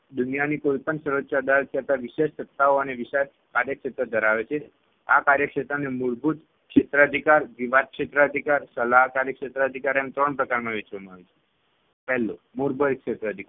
દુનિયાની કોઈપણ સર્વોચ્ય અદાલત કરતાં વિશેષ્ટ સત્તાઓ અને વિશાળ કાર્યક્ષેત્ર ધરાવે છે. આ કાર્યક્ષેત્રને મૂળભૂત ક્ષેત્ર અધિકાર, વિવાદ ક્ષેત્ર અધિકાર, સલાહકારી ક્ષેત્ર અધિકાર એમ ત્રણ પ્રકારમાં વહેંચવામાં આવે છે. પહેલું મૂળભૂત ક્ષેત્ર અધિકાર